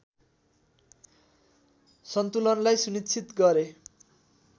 सन्तुलनलाई सुनिश्चित गरे